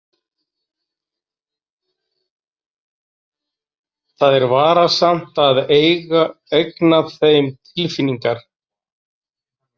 Það er varasamt að eigna þeim tilfinningar.